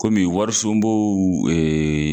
Kɔmi warisunbow